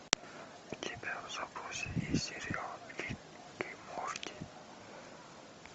у тебя в запасе есть сериал рик и морти